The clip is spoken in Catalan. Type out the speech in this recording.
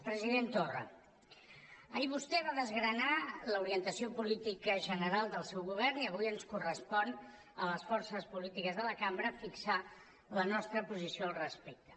president torra ahir vostè va desgranar l’orientació política general del seu govern i avui ens correspon a les forces polítiques de la cambra fixar la nostra posició al respecte